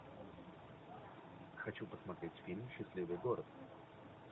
хочу посмотреть фильм счастливый город